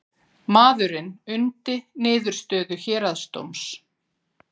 Maðurinn undi niðurstöðu héraðsdóms